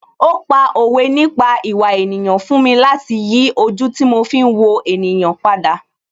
Ó pa òwe nípa ìwà ènìyàn fún mi láti yí ojú tí mo fi ń wo ènìyàn padà